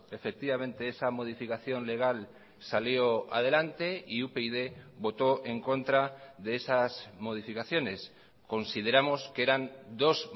efectivamente esa modificación legal salió adelante y upyd votó en contra de esas modificaciones consideramos que eran dos